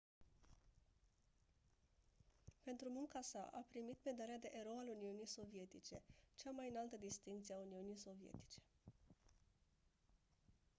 pentru munca sa a primit medalia de «erou al uniunii sovietice» cea mai înaltă distincție a uniunii sovietice.